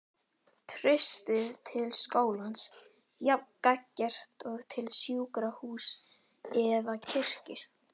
Traustið til skólans jafn gagngert og til sjúkrahúss eða kirkju.